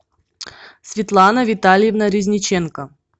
светлана витальевна резниченко